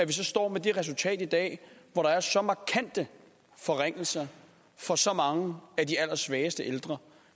vi står med det resultat i dag at der er så markante forringelser for så mange af de allersvageste ældre